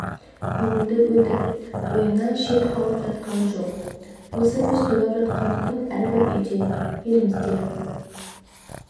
көңілді өтіп ойыннан шет қалып жатқан жоқ осы біз тойлап жатқан күн әрбір үйде елімізде